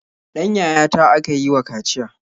Ɗan yayata aka yi wa kaciya.